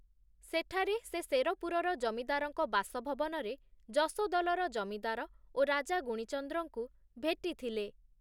ସେଠାରେ ସେ ଶେରପୁରର ଜମିଦାର ଙ୍କ ବାସଭବନରେ ଯଶୋଦଲର ଜମିଦାର ଓ ରାଜା ଗୁଣୀଚନ୍ଦ୍ରଙ୍କୁ ଭେଟିଥିଲେ ।